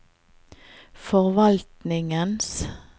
forvaltningens